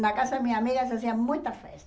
Na casa da minha amiga se fazia muita festa.